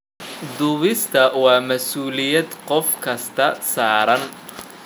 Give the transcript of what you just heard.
Duubista waa masuuliyad qof kasta saaran.